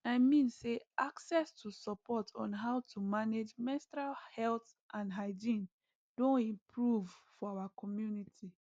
i mean say access to support on how to manage menstrual health and hygiene doh improve for our community